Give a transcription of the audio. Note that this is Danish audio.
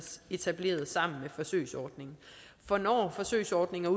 etableret sammen med forsøgsordningen for når forsøgsordningen